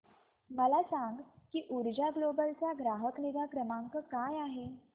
मला सांग की ऊर्जा ग्लोबल चा ग्राहक निगा क्रमांक काय आहे